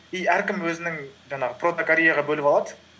и әркім өзінің жаңағы бөліп алады